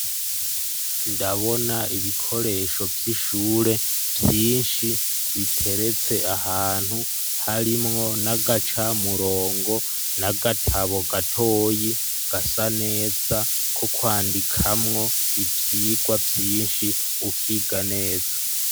Ndabona ibikoresho vy'ishure ,vyinshi ,biteretse ahantu ,harimwo n'agaca murongo, n'agatabo gatoyi gasa neza, ko kwandikamwo ivyigwa vyinshi, ukiga neza.